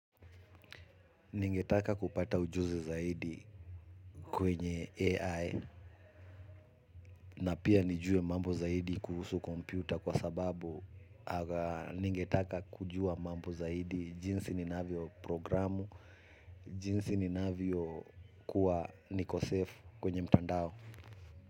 Ningetaka kupata ujuzi zaidi kwenye AI na pia nijue mambo zaidi kuhusu kompyuta kwa sababu ningetaka kujua mambo zaidi jinsi ninavyo programu, jinsi ninavyo kuwa niko safe kwenye mtandao.